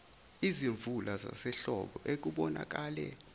izimvula zasehlobo okubonakale